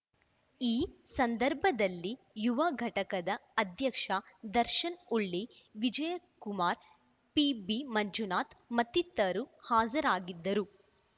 ಈ ಸಂದರ್ಭದಲ್ಲಿ ಯುವ ಘಟಕದ ಅಧ್ಯಕ್ಷ ದರ್ಶನ್‌ ಉಳ್ಳಿ ವಿಜಯಕುಮಾರ್‌ ಪಿಬಿ ಮಂಜುನಾಥ್‌ ಮತ್ತಿತರರು ಹಾಜ್ ರಾಗಿದ್ದರು